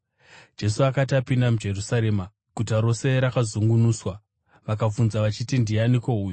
Jesu akati apinda muJerusarema, guta rose rakazungunuswa, vakabvunza vachiti, “Ndianiko uyu?”